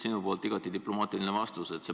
Sinu poolt igati diplomaatiline vastus.